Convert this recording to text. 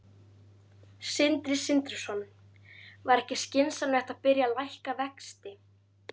Sindri Sindrason: Væri ekki skynsamlegt að byrja að lækka vexti?